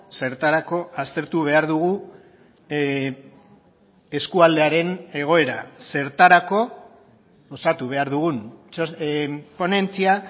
zertarako aztertu behar dugu eskualdearen egoera zertarako osatu behar dugun ponentzia